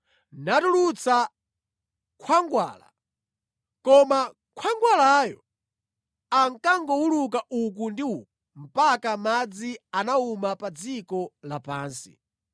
natulutsa khwangwala, koma khwangwalayo ankangowuluka uku ndi uku mpaka madzi anawuma pa dziko lapansi.